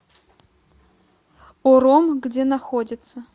ором где находится